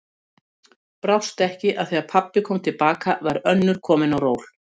Brást ekki að þegar pabbi kom til baka var önnur komin á ról.